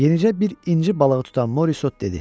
Yenəcə bir inci balığı tutan Morisot dedi: